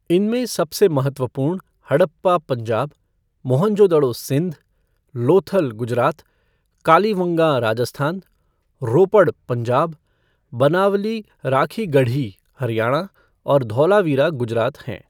इनमें सबसे महत्वपूर्ण हड़प्पा, पंजाब, मोहनजोदड़ो, सिंध, लोथल, गुजरात, कालीवंगाँ, राजस्थान, रोपड़, पंजाब, बनावली, राखीगढ़ी, हरियाणा और धौलावीरा गुजरात हैं।